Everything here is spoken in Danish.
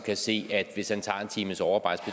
kan se at hvis han tager en times overarbejde